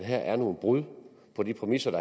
her er nogle brud på de præmisser